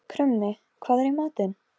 Krummi, hvað er í matinn?